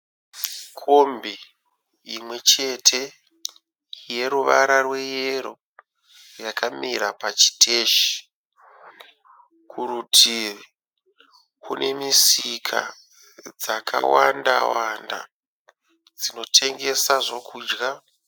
Kombi imwe chete yeruvara rweyero yakamira pachiteshi. Kurutivi kune misika dzakawanda wanda dzinotengesa zvokudya.